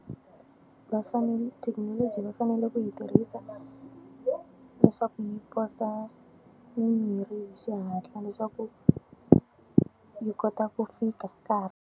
Va thekinoloji va fanele ku yi tirhisa, leswaku mi posa mimirhi hi xihatla leswaku yi kota ku fika .